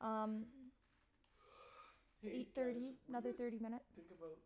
Um So Hey eight guys, thirty, what do you another thirty guys minutes. think about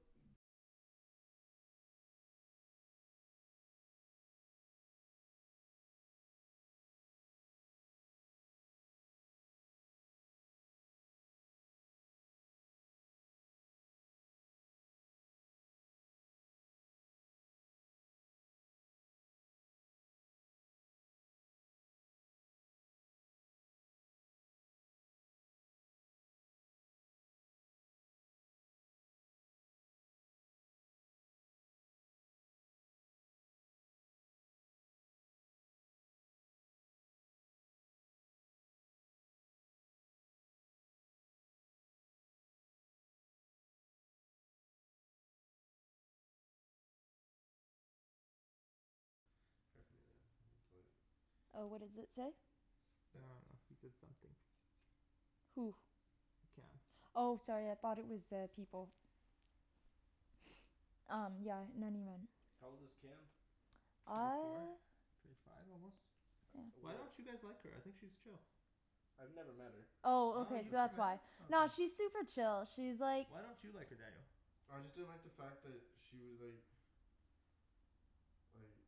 paraphernalia. It's like Oh, what does it say? It's I bad. dunno. He said something. Who? Cam. Oh sorry, I thought it was uh people. Um yeah. Not even. How old is Cam? Twenty four? Uh Twenty five almost? Why Where don't you guys like her? I think she's chill. I've never met her. Oh Oh okay, you've so never that's met why. her? Oh okay. Nah, she's super chill, she's like Why don't you like her, Daniel? I just didn't like the fact that she was like like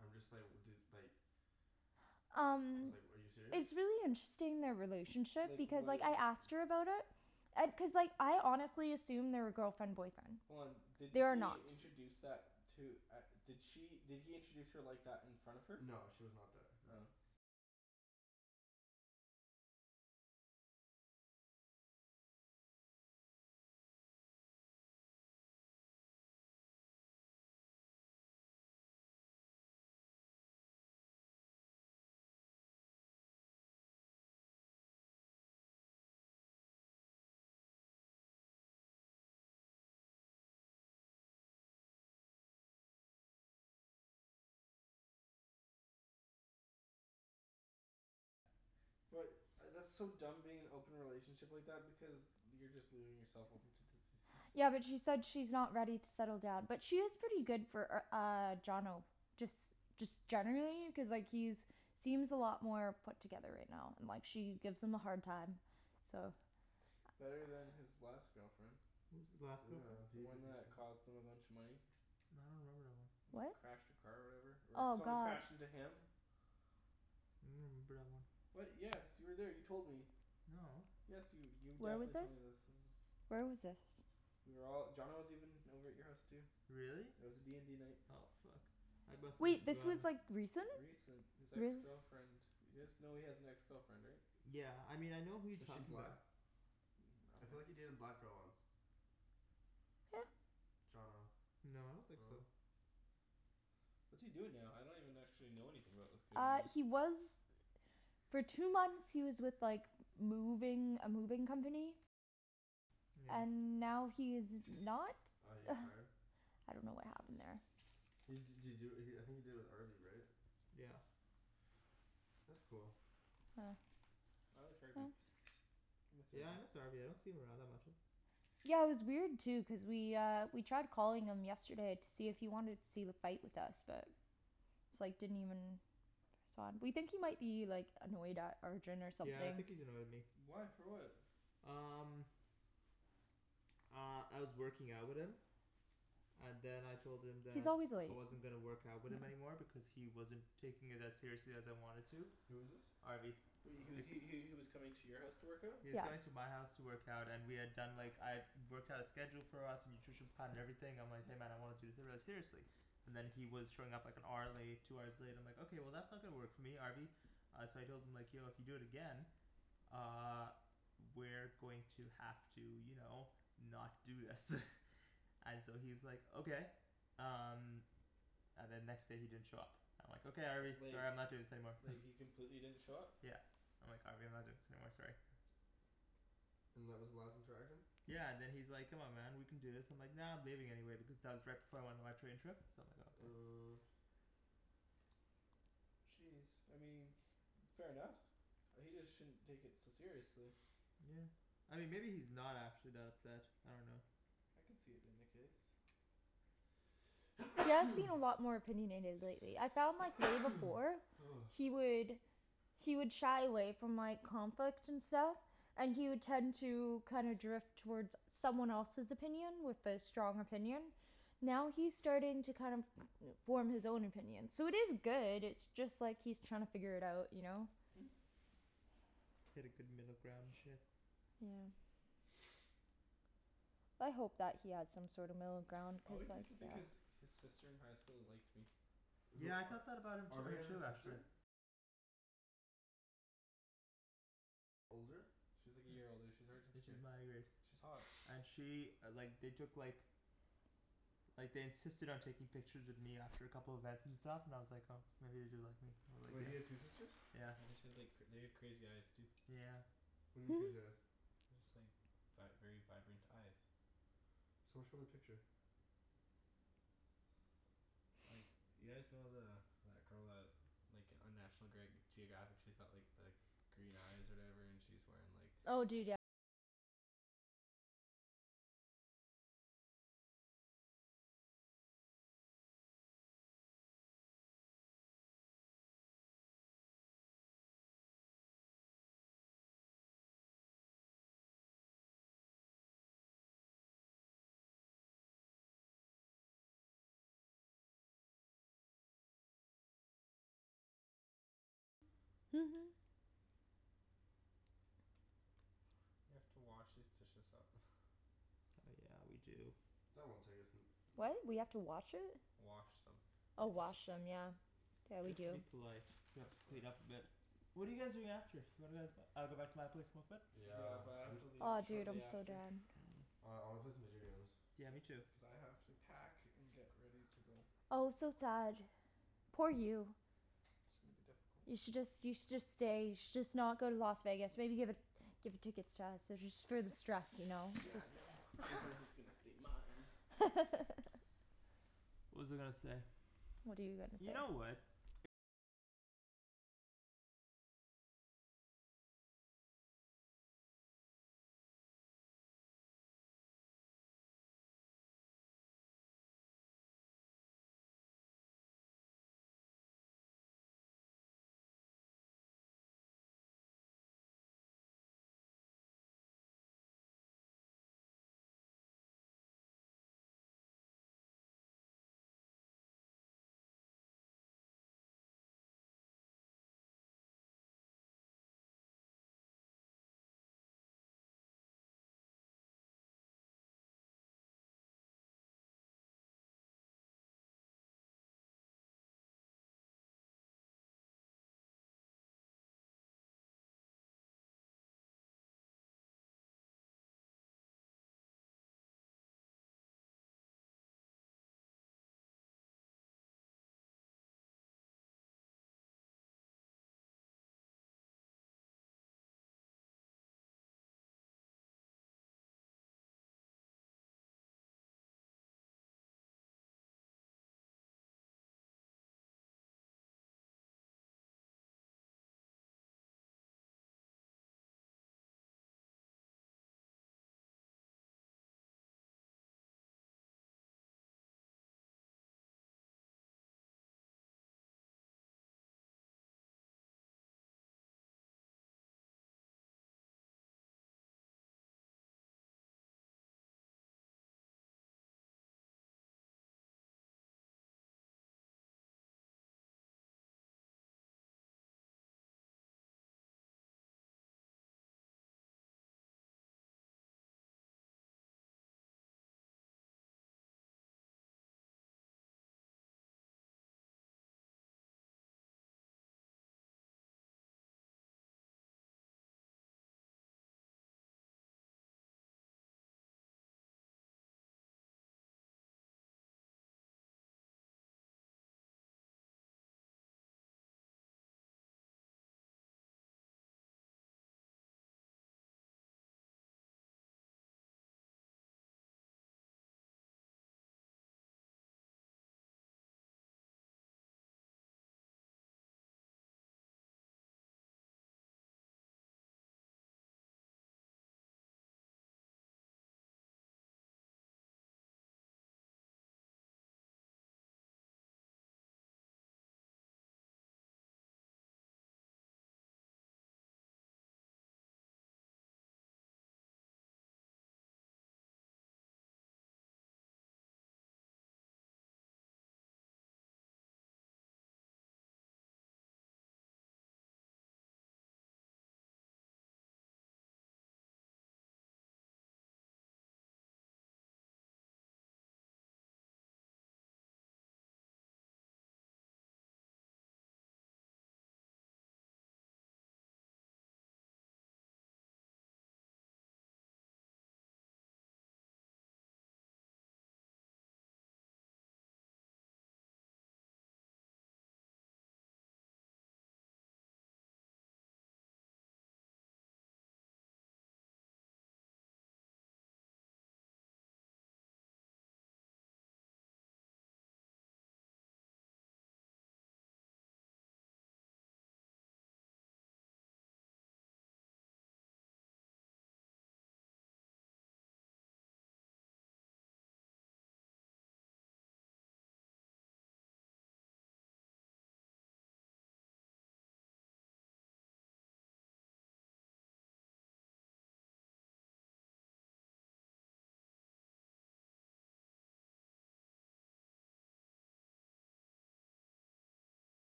I'm just like, dude, like I Um was like, "Are you serious?" It's really interesting, their relationship, Like because like when I asked her about it and, cuz like I honestly assumed they were girlfriend boyfriend. Hold on, did They are he not. introduce that, to, at, did she, did he introduce her like that in front of her? No she was not there, no. Oh. But, I that's so dumb being in an open relationship like that, because you're just leaving yourself open to diseases. Yeah, but she said she's not ready to settle down. But she is pretty good for r- uh, Johnno. Just, just generally, cuz like he's seems a lot more put together right now. And like she gives him a hard time. So Better than his last girlfriend. What was his last girlfriend? Did The he even one that cost him a bunch of money. I don't remember that one. What? Crashed her car or whatever? Or Oh someone god. crashed into him. remember that one. What? Yes, you were there, you told me. No. Yes you, you Where was definitely this? told me this, this is Where was this? We were all, Johnno was even over at your house too. Really? It was a d and d night. Oh fuck. I must've Wait, this was forgotten. like, recent? Recent? This ex girlfriend You guys know he has an ex girlfriend, right? Yeah. I mean, I know who you Is she talking black? 'bout. Mm, I I feel like he dunno. dated a black girl once. Yeah. Johnno. No, I don't think so. What's he doing now? I don't even actually know anything about this kid Uh, anymore. he was for two months, he was with like moving, a moving company. Yeah. And now he's not. Oh, he got fired? I dunno what happened there. He d- did he do it, I think he did it with Harvey right? Yeah. That's cool. I like Harvey. I miss Yeah I miss Harvey. Harvey, I don't see him around that much. Yeah, it was weird too, cuz we uh, we tried calling him yesterday to see if he wanted to see the fight with us, but it's like, didn't even respond. We think he might be like, annoyed at Arjan or something. Yeah I think he's annoyed at me. Why? For what? Um Uh, I was working out with him. And then I told him He's that always late. I wasn't gonna work out with him anymore because he wasn't taking it as seriously as I wanted to. Who is this? Harvey. He was he he he was coming to your house to work out? He was Yeah. coming to my house to work out and we had done like, I had worked out a schedule for us, nutrition plan, and everything, I'm like "Hey man, I want to do seriously." And then he was showing up like an hour late, two hours late, and I'm like "Okay, that's not gonna work for me, Harvey." Uh so I told him like "Yo, if you do it again uh we're going to have to, you know, not do this. And so he's like "Okay." Um And then next day he didn't show up. I'm like "Okay Harvey, Like sorry I'm not doing this anymore." He completely didn't show up? Yeah. I'm like "Harvey, I'm not doing this anymore, sorry." And that was the last interaction? Yeah and then he's like "Come on man, we can do this." And I'm like "Nah, I'm leaving anyway," because that was right before I went on my train trip. So I'm like "Oh okay." Uh Jeez, I mean fair enough. He just shouldn't take it so seriously. Yeah. I mean maybe he's not actually that upset, I dunno. I could see it being the case. He does seem a lot more opinionated lately. I found like way before he would he would shy away from like, conflict and stuff. And he would tend to kind of drift toward someone else's opinion, with a strong opinion. Now he's starting to kind of form his own opinion. So it is good, it's just like he's trying to figure it out, you know? Hit a good middle ground and shit. Yeah. I hope that he has some sort of middle ground, I cuz always like, used to think yeah his, his sister in high school liked me. Who, Yeah I thought Ar- that about him Harvey t- has a too sister? actually. She's like a year older. She's Arjan's She's grade. my grade. She's hot. And she like, they took like like they insisted on taking pictures of me after a couple events and stuff, and I was like, oh maybe they do like me Wait, he had two sisters? Yeah. And then she had like, they had crazy eyes too. Yeah. What do you mean crazy eyes? They're just like vi- very vibrant eyes. Someone show me a picture. Like, you guys know the, that girl that like, on National Greg- Geographic she's got like the green eyes or whatever? And she's wearing like We have to wash these dishes up. Oh yeah, we do. That won't take us n- no- What? We have to watch it? Wash them. Oh wash them, yeah. Yeah, we Just do. to be polite. We have Of to clean course. up a bit. What are you guys doing after? What are guys, uh go back to my place, smoke a bit? Yeah, Yeah, but I have I'm to leave Oh dude, shortly I'm so after. done. Mm. Oh I wanna play some video games. Yeah, me too. Cuz I have to pack and get ready to go. Oh so sad. Poor you. It's gonna be difficult. You should just, you should just stay, you should just not go to Las Vegas, maybe give it give the tickets to us, just for the stress, you know, Yeah, cuz no. stay mine. What was I gonna say? What are you gonna You know say? what.